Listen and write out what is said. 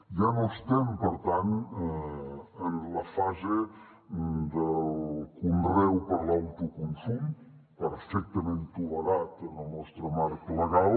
ja no estem per tant en la fase del conreu per a l’autoconsum perfectament tolerat en el nostre marc legal